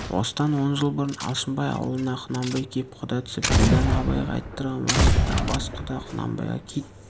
осыдан он жыл бұрын алшынбай аулына құнанбай кеп құда түсіп ділдәні абайға айттырған уақытта бас құда құнанбайға кит